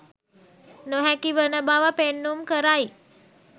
නොහැකි වන බව පෙන්නුම් කරයි.